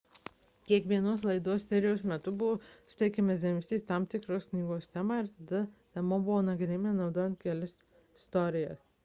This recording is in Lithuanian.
kiekvienos laidos serijos metu buvo sutelkiamas dėmesys į tam tikros knygos temą ir tada ta tema buvo nagrinėjama naudojan kelias istorijas